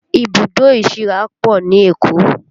Ibùdó ìsíra pọ̀ ní Èkó